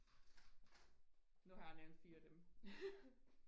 nu har jeg nævnt fire af dem